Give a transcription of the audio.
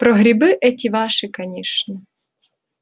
про грибы эти ваши конечно